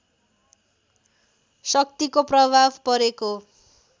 शक्तिको प्रभाव परेको